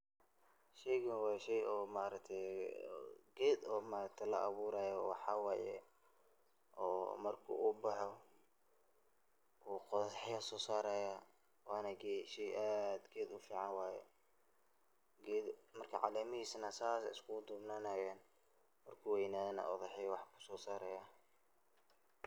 Sheegan wa sheey oo maaragtay keet la abuurayo maxwaye marka oo baxoh qothaxya sosaraya Wana sheey keet aad u fican marka calemahiska say ay iskugu dubnanaya, marku weynathoh u thaxya sosaraya.